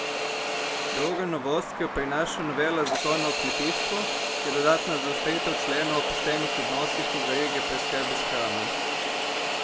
Druga novost, ki jo prinaša novela zakona o kmetijstvu, je dodatna zaostritev členov o poštenih odnosih v verigi preskrbe s hrano.